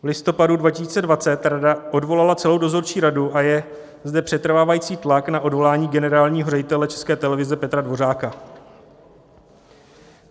V listopadu 2020 rada odvolala celou dozorčí radu a je zde přetrvávající tlak na odvolání generálního ředitele České televize Petra Dvořáka."